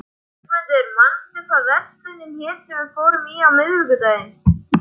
Björgmundur, manstu hvað verslunin hét sem við fórum í á miðvikudaginn?